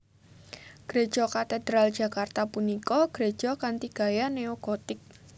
Gréja Katedral Jakarta punika gréja kanthi gaya neo gotik